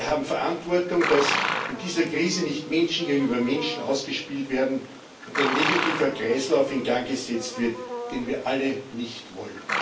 Wir haben Verantwortung, dass in dieser Krise nicht Menschen gegenüber Menschen ausgespielt werden und ein negativer Kreislauf in Gang gesetzt wird, den wir alle nicht wollen.